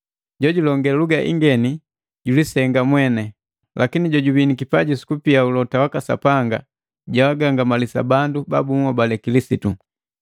Jojulonge luga ingeni julisenga mweni. Lakini jojubii nikipaji sukupia ulote waka Sapanga, jaagangamalisa bandu ba bunhobali Kilisitu.